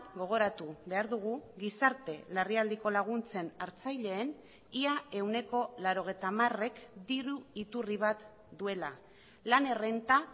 gogoratu behar dugu gizarte larrialdiko laguntzen hartzaileen ia ehuneko laurogeita hamarek diru iturri bat duela lan errenta